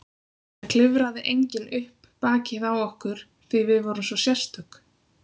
Það klifraði enginn upp bakið á okkur því við vorum svo sérstök.